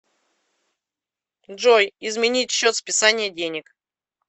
джой изменить счет списания денег